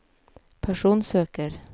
personsøker